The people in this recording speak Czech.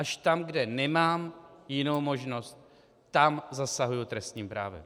Až tam, kde nemám jinou možnost, tam zasahuji trestním právem.